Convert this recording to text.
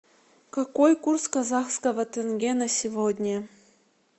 какой курс казахского тенге на сегодня